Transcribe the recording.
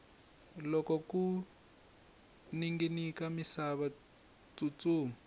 loko ku ninginika misava tsutsuma